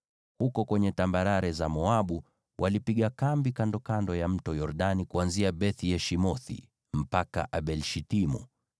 Huko kwenye tambarare za Moabu walipiga kambi kandokando ya Mto Yordani, kuanzia Beth-Yeshimothi mpaka Abel-Shitimu.